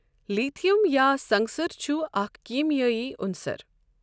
Lithium یا سنگصر چھُ اَکھ کیٖمیٲیی عُنصَر۔